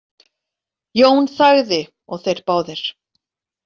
Jón þagði og þeir báðir.